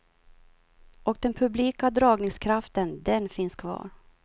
Och den publika dragningskraften, den finnns kvar.